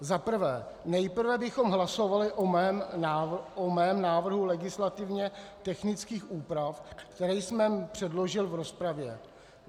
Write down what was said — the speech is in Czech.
Za prvé, nejprve bychom hlasovali o mém návrhu legislativně technických úprav, které jsem předložil v rozpravě.